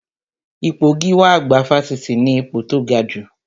Ipò gíwá àgbà Fáṣítì ni ipò tó gajù